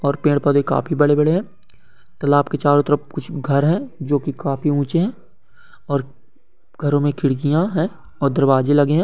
और पेड़-पौधे काफी बड़े-बड़े है तालाब के चारो तरफ कुछ घर हैजो की काफी उँचे हैऔर घरो में खिड़कियां हैऔर दरवाज़े लगे है।